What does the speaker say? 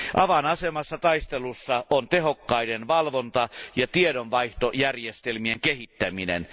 Avainasemassa taistelussa on tehokkaiden valvonta ja tiedonvaihtojärjestelmien kehittäminen.